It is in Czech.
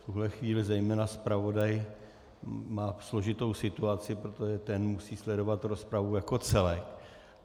V tuhle chvíli zejména zpravodaj má složitou situaci, protože ten musí sledovat rozpravu jako celek.